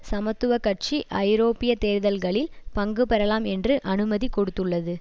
சமத்துவ கட்சி ஐரோப்பிய தேர்தல்களில் பங்கு பெறலாம் என்று அனுமதி கொடுத்துள்ளது